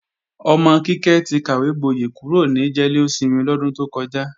Ọmọ Kíkẹ́ ti kàwégboyẹ̀ kúrò ní jẹ́lósinmi lọ́dún tó kọjá.